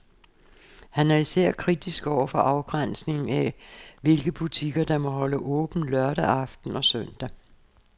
Han er især kritisk over for afgrænsningen af, hvilke butikker, der må holde åbent lørdag aften og søndag.